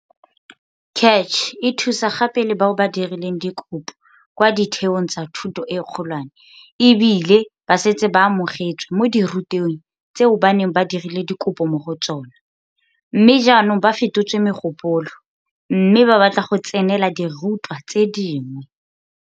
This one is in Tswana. CACH e thusa gape le bao ba dirileng dikopo kwa ditheong tsa thuto e kgolwane ebile ba setse ba amogetswe mo dirutweng tse ba neng ba dirile dikopo mo go tsona, mme jaanong ba fetotse mogopolo mme ba batla go tsenela dirutwa tse dingwe.